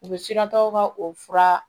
U bɛ siran tɔw ka o fura